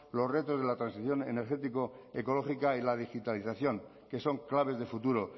los retos de la transición energético ecológica y la digitalización que son claves de futuro